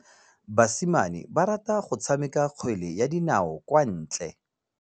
Basimane ba rata go tshameka kgwele ya dinaô kwa ntle.